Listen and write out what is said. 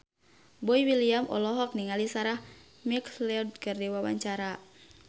Boy William olohok ningali Sarah McLeod keur diwawancara